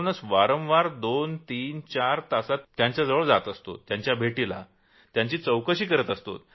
म्हणूनच वारंवार दोन तीन चार तासात त्यांच्याजवळ जातो त्यांना भेटतो त्यांची चौकशी करतो